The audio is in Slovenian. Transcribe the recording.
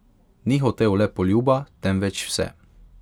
Ni hotel le poljuba, temveč vse.